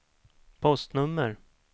postnummer